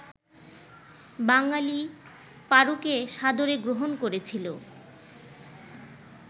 বাঙালি পারুকে সাদরে গ্রহণ করেছিল